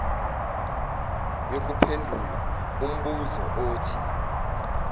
yokuphendula umbuzo othi